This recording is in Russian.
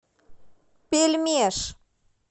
пельмешъ